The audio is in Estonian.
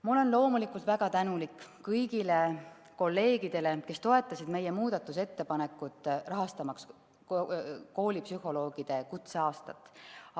Ma olen loomulikult väga tänulik kõigile kolleegidele, kes toetasid meie muudatusettepanekut, et rahastataks koolipsühholoogide kutseaastat.